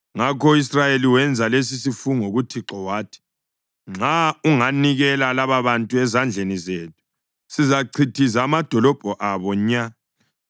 Ngakho u-Israyeli wenza lesisifungo kuThixo wathi: “Nxa unganikela lababantu ezandleni zethu, sizachithiza amadolobho abo nya.”